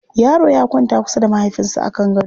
Yaro ya kwanta kusa da mahaifinsa a kan gaɗo.